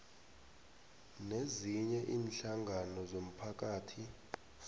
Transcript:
nezinye iinhlangano zomphakathi